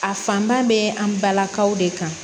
A fanba bɛ an balakaw de kan